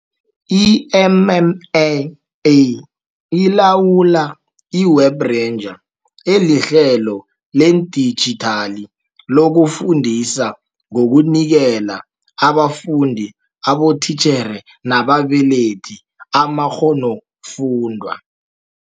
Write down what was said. I-MMA ilawula i-Web Rangers, elihlelo ledijithali lokufundisa ngokunikela abafundi, abotitjhere nababelethi amakghonofundwa.